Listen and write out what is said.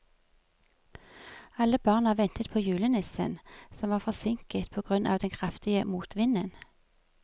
Alle barna ventet på julenissen, som var forsinket på grunn av den kraftige motvinden.